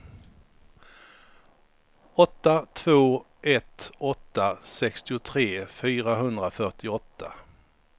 åtta två ett åtta sextiotre fyrahundrafyrtioåtta